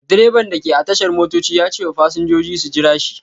Direban da ke a tashar motoci ya ce wa fasinjoji su jira shi.